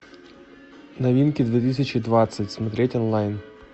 новинки две тысячи двадцать смотреть онлайн